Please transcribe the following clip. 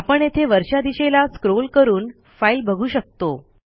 आपण येथे वरच्या दिशेला स्क्रॉल करून फाईल बघू शकतो